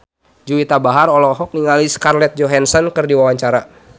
Juwita Bahar olohok ningali Scarlett Johansson keur diwawancara